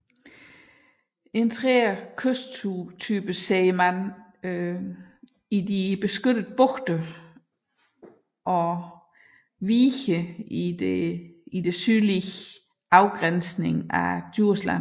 En tredje kysttype ser man i de beskyttede bugter og viges sydlige afgrænsning af Djursland